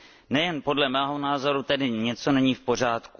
Nejen podle mého názoru tedy něco není v pořádku.